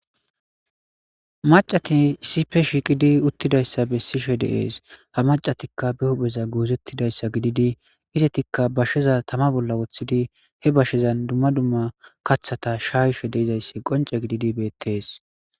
Macati isipe shiiqidi uttidayssa bessishe deees ha macatikka be hupheza guozettidayssa gididi izetikka bashsheza tama bolla woththidi he bashshezan dumma dumma kathata shaayishe dizayssi qonce gididi beettees.